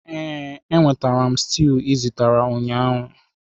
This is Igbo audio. Ee, enwetara m stew ị zitere ụnyaahụ.